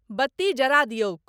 बत्ती जरा दियौक।